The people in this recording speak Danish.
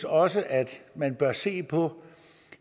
også at man bør se på